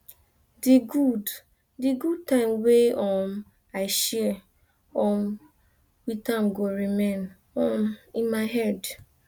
di good di good time wey um i share um with am go remain um in my head